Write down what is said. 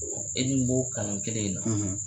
Wa e dun b'o kalan kelen in na